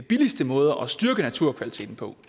billigste måder at styrke naturkvaliteten på